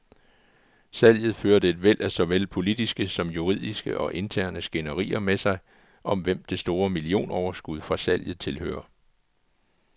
Salget førte et væld af såvel politiske som juridiske og interne skænderier med sig, om hvem det store millionoverskud fra salget tilhører.